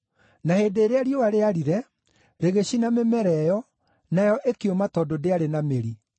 Na hĩndĩ ĩrĩa riũa rĩarire, rĩgĩcina mĩmera ĩyo, nayo ĩkĩũma tondũ ndĩarĩ na mĩri.